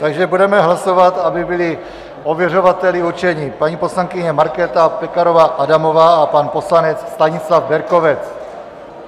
Takže budeme hlasovat, aby byli ověřovateli určeni paní poslankyně Markéta Pekarová Adamová a pan poslanec Stanislav Berkovec.